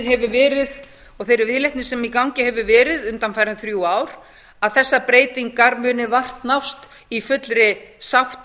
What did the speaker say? hefur verið og þeirri viðleitni sem í gangi hefur verið undanfarin þrjú ár að þessar breytingar muni vart nást í fullri sátt